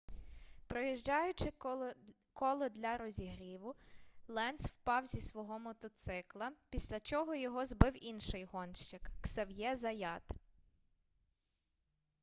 проїжджаючи коло для розігріву ленц впав зі свого мотоцикла після чого його збив інший гонщик ксав'є заят